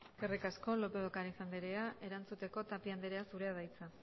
eskerrik asko lópez de ocariz andrea erantzuteko tapia andrea zurea da hitza